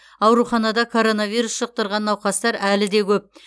ауруханада коронавирус жұқтырған науқастар әлі де көп